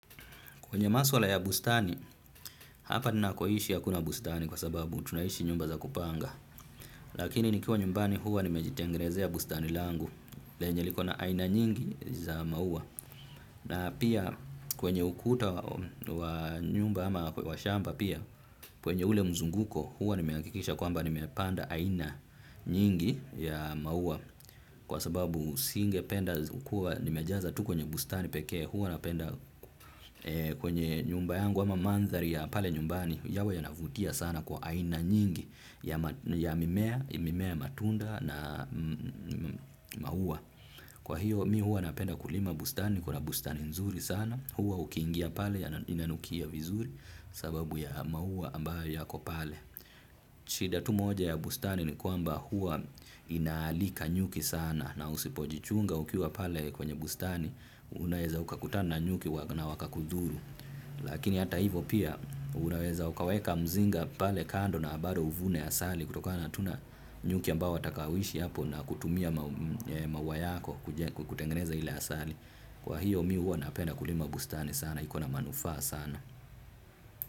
Kwenye maswala ya bustani, hapa nina koishi hakuna bustani kwa sababu tunaishi nyumba za kupanga. Lakini nikiwa nyumbani huwa nimejitengezea bustani langu, lenye likona aina nyingi za maua. Na pia kwenye ukuta wa nyumba ama wa shamba pia, kwenye ule mzunguko huwa nimehakikisha kwamba nimepanda aina nyingi ya maua. Kwa sababu singe penda kukuwa nimejaza tu kwenye bustani pekee. Huwa napenda kwenye nyumba yangu ama mandhari ya pale nyumbani. Yawe yanavutia sana kwa aina nyingi ya mimea, imemea matunda na maua. Kwa hiyo mi huwa napenda kulima bustani kuna bustani nzuri sana. Huwa ukiingia pale yana inanukia vizuri kwa sababu ya maua ambayo yako pale shida tu moja ya bustani ni kwamba huwa inaalika nyuki sana. Na usipojichunga ukiwa pale kwenye bustani unaweza ukakutana na nyuki na wakakudhuru. Lakini hata hivo pia unaweza ukaweka mzinga pale kando na bado uvune asali. Kutokana tu na nyuki ambao watakaoishi hapo na kutumia maua yako kutengeneza ile asali. Kwa hiyo mi huwa napenda kulima bustani sana, iko na manufaa sana.